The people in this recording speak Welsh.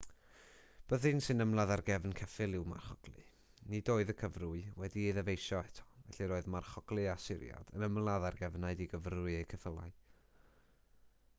byddin sy'n ymladd ar gefn ceffyl yw marchoglu nid oedd y cyfrwy wedi'i ddyfeisio eto felly roedd marchoglu asyriad yn ymladd ar gefnau digyfrwy eu ceffylau